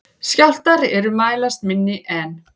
Skjálftar er mælast minni en